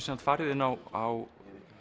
farið inn á